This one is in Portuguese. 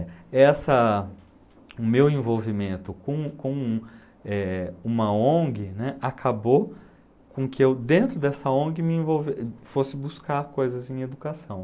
Essa, o meu envolvimento com com, eh, uma Ong, né, acabou com que eu, dentro dessa Ong, me envolvesse, fosse buscar coisas em educação.